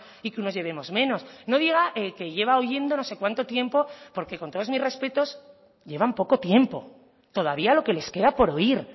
y que unos llevemos menos no diga que lleva oyendo no sé cuánto tiempo porque con todos mis respetos llevan poco tiempo todavía lo que les queda por oír